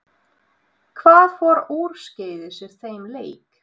Hvað fór úrskeiðis í þeim leik?